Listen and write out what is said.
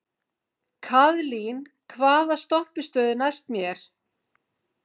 Kaðlín, hvaða stoppistöð er næst mér?